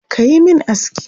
Ka yi min aski.